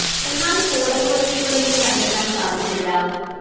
എന്നാല്‍ സ്‌ഫോടക വസ്തുക്കളൊന്നും കണ്ടെത്താന്‍ സാധിച്ചില്ല